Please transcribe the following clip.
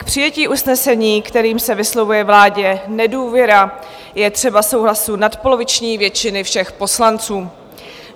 K přijetí usnesení, kterým se vyslovuje vládě nedůvěra, je třeba souhlasu nadpoloviční většiny všech poslanců.